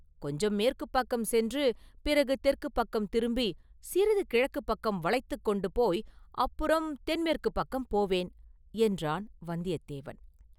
கொஞ்சம் மேற்குப் பக்கம் சென்று, பிறகு தெற்குப் பக்கம் திரும்பி, சிறிது கிழக்குப் பக்கம் வளைத்துக் கொண்டு போய் அப்புறம் தென் மேற்குப் பக்கம் போவேன்!” என்றான் வந்தியத்தேவன்.